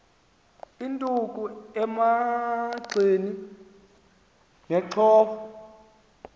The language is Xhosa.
induku emagxeni nenxhowa